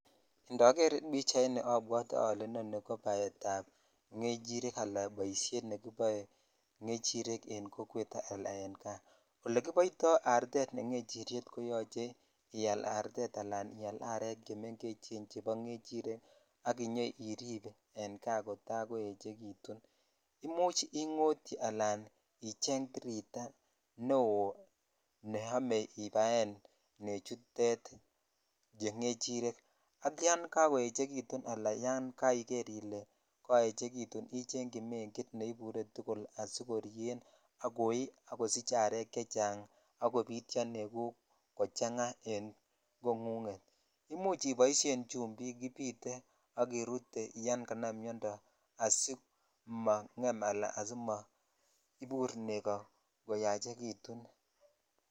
Indoger pichaini obwotee ole inoni ko baet ab ngechirek alan boishoni ne kiboe e kokwet ala en kaa ole kiboito artet ne ngechiryet koyoche ial artet ala ial arek chemengechen chebo ngechirek ak inyoirip en kaa kota koechekitun imuch ingotyi ala icheng tiritaa neob ne omee ibaen nechutet che ngevhirek ak yan kakoechekitu alan yan kaijer ile koechekutun icheng chii megit neiburee tukul asikorien ak koi ak kosich arek chechang ak kobityo neguk kochanga en kongunget imuch iboishen chumbik kibitee ak kerute ysn kanam miondo asimange ala asi maibur negoo koyachekutun.